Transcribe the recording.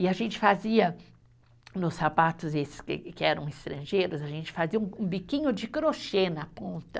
E a gente fazia, nos sapatos esses que que eram estrangeiros, a gente fazia um um biquinho de crochê na ponta.